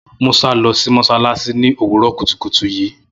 Musa lọ sí mọ́ṣáláṣí ní òwúrọ̀ kùtùkùtù yìí